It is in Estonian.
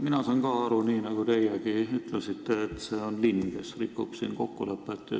Mina saan ka aru nii, nagu teiegi ütlesite, et linn rikub kokkulepet.